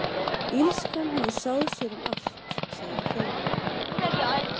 Illskan hefur sáð sér um allt, sagði Þóra.